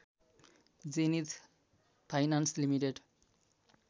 zenith finance limited